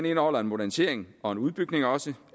indeholder en modernisering og en udbygning